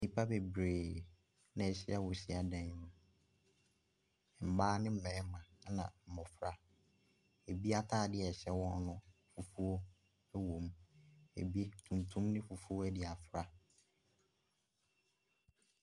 Nnipa bebree ɛna ahyia wɔ hyiadan mu. Mmaa ne mmarima ɛna mmofra. Ebi ataade a ɛhyɛ wɔn no yɛ fufuo ɛwom. Ebi, tuntum ne fufuo ɛde afira.